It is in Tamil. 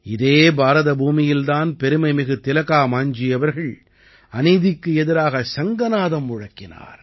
இதே பாரத பூமியில் தான் பெருமைமிகு திலகா மாஞ்ஜீ அவர்கள் அநீதிக்கு எதிராக சங்கநாதம் முழக்கினார்